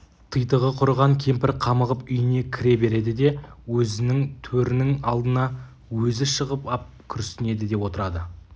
титығы құрыған кемпір қамығып үйіне кіре береді де өзінің төрінің алдына өзі шығып ап күрсінеді де отырады